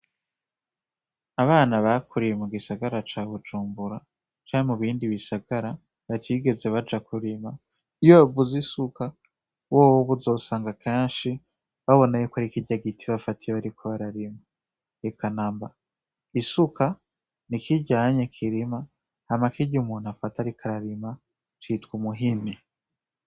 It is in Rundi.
Abana bakuriye mu gisagara ca Bujumbura canke mu bindi bisagara batigeze baja kurima , iyo bavuze isuka bobo kenshi bazobona kari kirya giti bafata bariko bararima. Eka namba , isuka ni kirya kirima , hama kirya bafata umuntu ariko ararima citwa umuhini.